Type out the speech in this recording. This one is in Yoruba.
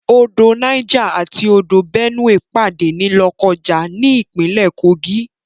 Odò Niger àti odò Benue pàdé ní Lọ́kọ́ja ní ìpínlè Kogi.